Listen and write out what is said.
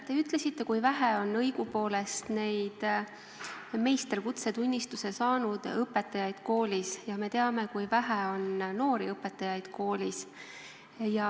Te ütlesite, kui vähe on õigupoolest neid meisterõpetaja kutsetunnistuse saanud õpetajaid koolis, ja me teame, kui vähe on noori õpetajaid koolis.